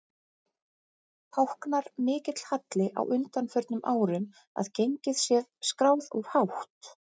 Táknar mikill halli á undanförnum árum að gengið sé skráð of hátt?